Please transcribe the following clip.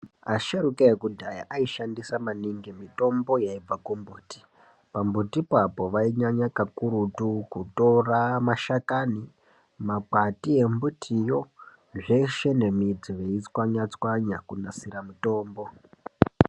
Asharukwa ekudhaya aishandisa maningi mitombo yaibva kumbuti pambutipo vainyanya kakurutu Kutora mashakani makwati embutiyo zveshe nembiti veitswanya tswanya kunasira mutombo.